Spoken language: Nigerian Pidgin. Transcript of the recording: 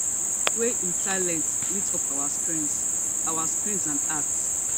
wey im talent lit up our screens our screens and hearts